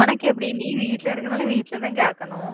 உனக்கு எப்படி நீ வீட்டுல இர்ருக்குறதுன்னால வீட்டுல தான் கேக்கணும்